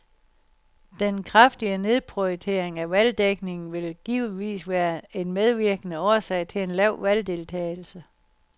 Den kraftige nedprioritering af valgdækningen vil givetvis være en medvirkende årsag til en lav valgdeltagelse.